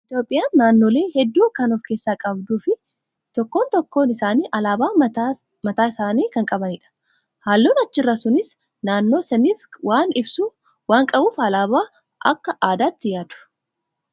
Itoophiyaan naannolee hedduu kan of keessaa qabduu fi tokkoon tokkoo isaanii alaabaa mataa mataa isaanii kan qabanidha. Halluun achirraa sunis naannoo saniif waan ibsu waan qabuuf alaabaa akka addaatti yaadu.